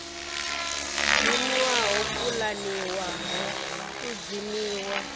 dzimiwa ho pulaniwaho u dzimiwa